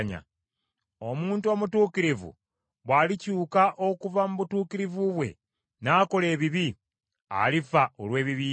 Omuntu omutuukirivu bw’alikyuka okuva mu butuukirivu bwe n’akola ebibi, alifa olw’ebibi bye.